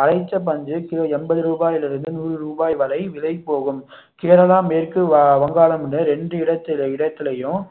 அடைத்த பஞ்சு கிலோ எண்பது ரூபாயிலிருந்து நூறு ரூபாய் வரை விலை போகும் கேரளா, மேற்கு வ~ வங்காளம்னு இரண்டு இடத்~ இடத்துலையும்